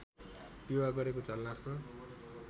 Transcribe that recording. विवाह गरेको झलनाथको